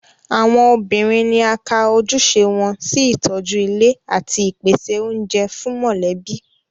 Àwọn obìnrin ni a ka ojúṣe wọn sí ìtọ́jú ilé àti ìpèsè oúnjẹ fún mọ̀lẹ́bí